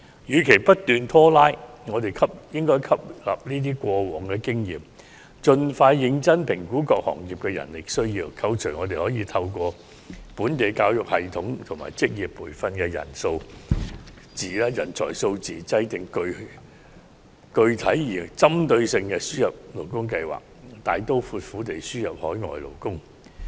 與其不斷拖拉，我們應吸納上述的過往經驗，盡快認真評估各行業的人力需要，扣除可透過本地教育系統及職業培訓產生的人才數字，制訂具體而有針對性的輸入勞工計劃，大刀闊斧地輸入海外勞工。